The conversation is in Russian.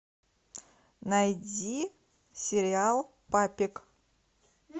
найди сериал папик